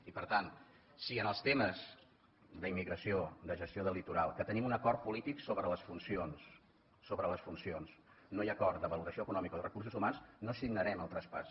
i per tant si en els temes d’immigració de gestió del litoral que tenim un acord polític sobre les funcions no hi ha acord de valoració econòmica o de recursos humans no signarem el traspàs